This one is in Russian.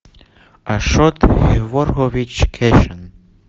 ашот геворгович кещян